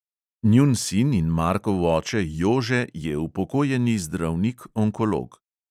Njun sin in markov oče jože je upokojeni zdravnik onkolog.